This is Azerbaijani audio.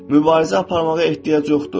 Mübarizə aparmağa ehtiyac yoxdur.